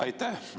Aitäh!